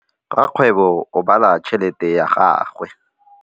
Rakgwêbô o bala tšheletê ya gagwe.